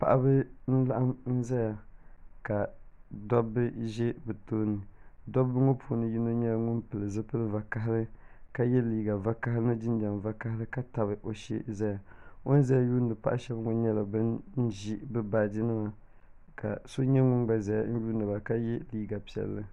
Paɣaba n laɣim n za ya ka dabba zɛ bi tooni dabba ŋɔ puuni yino nyɛla ŋuni pili zupiligu vakahali ka ye liiga vakahali ni jinjam vakahali ka tabi o shɛɛ n zaya o ni zaya yuuni paɣa shɛba ŋɔ nyɛla ba n zo bi baaji nima ka nyɛ liiga piɛlli.